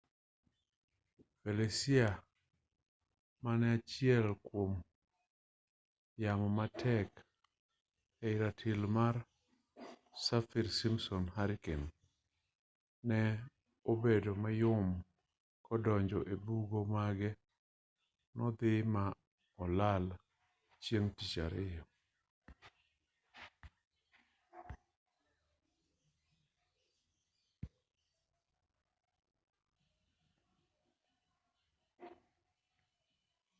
felicia mane achiel kuom yamo matek e ratil mar saffir simpson hurricane ne obedo mayom kodonjo ebugo bang'e nodhii ma olal chieng' tich ariyo